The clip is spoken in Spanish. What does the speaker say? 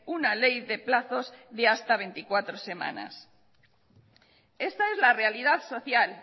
una ley de plazos de hasta veinticuatro semanas esta es la realidad social